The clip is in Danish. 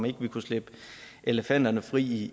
ikke kunne slippe elefanterne fri i